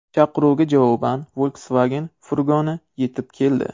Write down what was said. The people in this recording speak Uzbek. Chaqiruvga javoban Volkswagen furgoni yetib keldi.